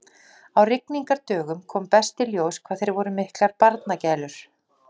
Á rigningardögum kom best í ljós hvað þeir voru miklar barnagælur.